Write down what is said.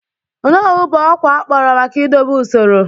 Onowu bụ ọkwa akpọrọ maka idobe usoro.